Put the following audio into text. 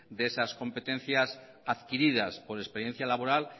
de esas competencias adquiridas por experiencia laboral